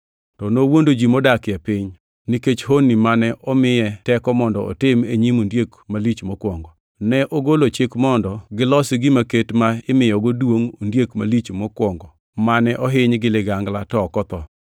To nowuondo ji modakie piny, nikech honni mane omiye teko mondo otim e nyim ondiek malich mokwongo. Ne ogolo chik mondo gilosi gima ket ma imiyogo duongʼ ondiek malich mokwongo mane ohiny gi ligangla to ok otho.